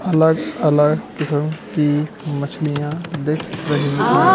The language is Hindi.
अलग अलग किसम की मछलियां दिख रही हैं।